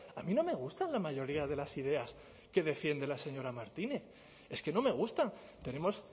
a mí no me gusta la mayoría de las ideas que defiende la señora martínez es que no me gustan tenemos